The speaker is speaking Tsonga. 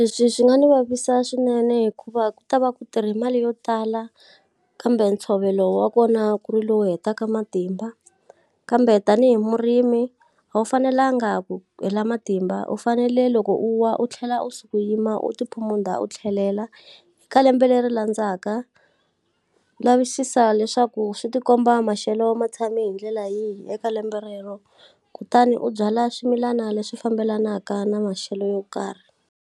Leswi swi nga ndzi vavisa swinene hikuva ku ta va ku tirha mali yo tala, kambe ntshovelo wa kona ku ri lowu hetaka matimba. Kambe tanihi murimi a wu fanelanga ku hela matimba u fanele loko u wa u tlhela u suka u yima, u ti phumunda, u tlhelela. Ka lembe leri landzaka, lavisisa leswaku swi ti komba maxelo ma tshami hi ndlela yihi eka lembe rero, kutani u byala swimilana leswi fambelanaka na maxelo yo karhi.